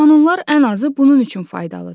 Qanunlar ən azı bunun üçün faydalıdır.